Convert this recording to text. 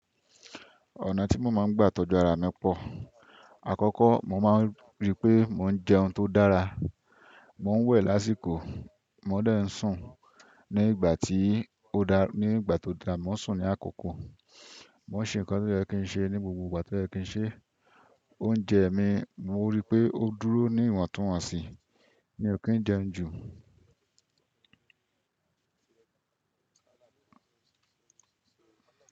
Ọ̀nà tí mo máa ń gbà tọ́jú ara mi pọ̀. Àkọ́kọ́, mo máa ń ríi pé mo ń jẹun tó dára. Mò ń wẹ̀ lásìkò, mo dẹ̀ ń sùn. Ní ìgbà tí ó dáa, ní ìgbà tó dáa, mo maa ń sùn ní àkókò. Mo n se nkan to ye kin se ni gbogbo igba to ye kin se. Oúnjẹ mi, mo ríi pé ó dúró ní ìwọ̀ntúnwọ̀nsì mi ò kí ń jẹun jù.